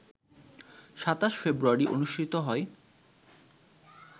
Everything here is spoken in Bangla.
২৭ ফেব্রুয়ারি অনুষ্ঠিত হয়